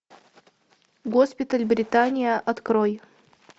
госпиталь британия открой